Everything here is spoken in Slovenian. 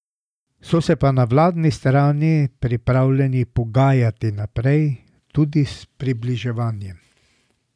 So se pa na vladni strani pripravljeni pogajati naprej, tudi s približevanjem.